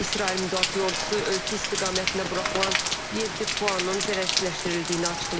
İsrail Müdafiə Ordusu ölkə istiqamətində buraxılan yeddi PUA-nın zərərsizləşdirildiyini açıqlayıb.